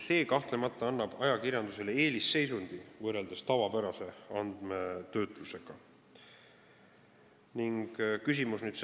See annab ajakirjandusele võrreldes tavapärase andmetöötlusega kahtlemata eelisseisundi.